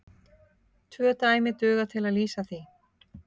Tvö dæmi duga til að lýsa því.